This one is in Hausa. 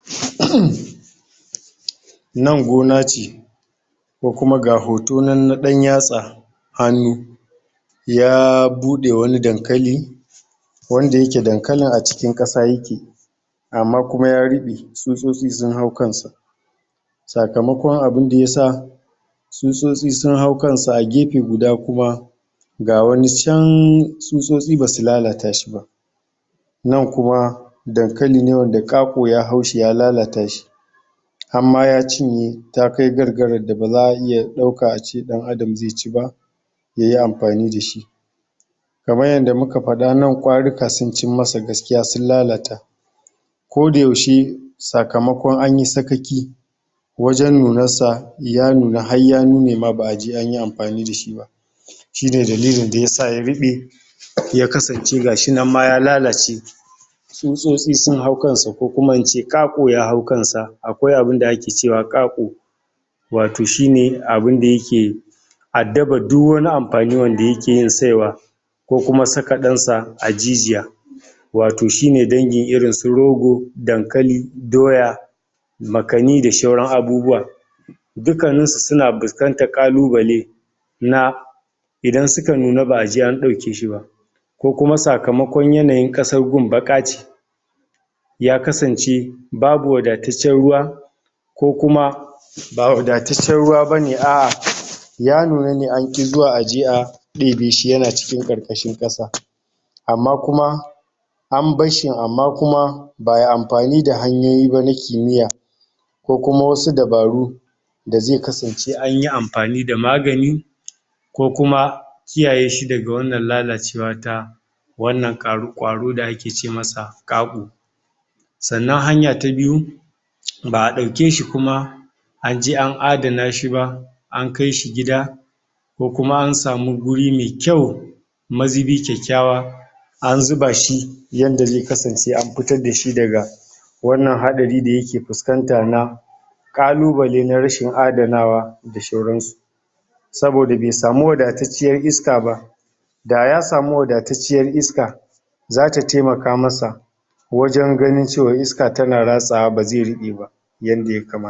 um Nan gona ce kokuma ga hoto nan na dan yatsa, hannu ya bude wani dankali wanda yake dankalin a cikin kasa yake amma kuma ya ribe tsutsotsi sun hau kansa, sakamakon abinda yasa tsutsotsi sun hau kansa a gefe guda kuma ga wani chan tsutsotsi basu lalata shiba, nan kuma dankaline wanda ƙaƙo ya haushi ya lalata shi, hamma ya cinye ya kai gargaran da baza a iya dauka ace dan adam ze ci ba, yayi amfani dashi. Kamar yanda muka fada nan kwarika sun cim masa gaskiya sun lalata ko da yaushe sakamakon anyi sakaki wajan nunansa ya nuna har ya nunema baʼ aje anyi amfani dashi ba, shine dalilin dayasa yaribe ya kasance gashinan ma ya lalace tsutsosti sun hau kansa ko kuma ince ƙaƙo ya hau kansa akwai abinda ake cewa ƙaƙo wato shine abin da yake addabar duk wani amfani da yakeyin tsaiwa kokuma sakaɗansa ajijiya, wato shine dangi irinsu roga, dankali, doya, makani da shauran abubuwa. Dukkanninsu suna fuskanta kalubale na idan suka nuna baʼaje an daukeshiba kokuma sakamakon yanayin kasan gun bakace ya kasance babu wadataccen ruwa ko kuma ba wadatacciyar ruwa bane aʼa ya nuna ne anki zuwa aje a debeshi yana cikin karkashin kasa amma kuma an barshin amma kuma ba aiyi amfani da hanyoyi ba na kimiyya, kokuma wasu dabaru daze kasance anyi amfani da magani ko kuma kiyayeshi daga wannan lalacewa ta wannan karu kwaron da ake ce masa ƙago saʼanan hanya ta biyu baʼa daukeshi kuma anje an adana shiba an kaishi gida kokuma na samu wuri mai kyau mazibi kyakyawa an zuba shi yanda ze kasance an fito dashi daga wannan hadari da yake fuskanta na kalubale na rashin adanawa da shauransu saboda be samu wadatacciyar iskaba daya samu wadatacciyar iska zata taimaka masa wajan ganin cewa iska tana ratsawa baze ribeba yanda ya kama